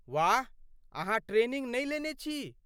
वाह ,अहाँ ट्रेनिंग नहि लेने छी?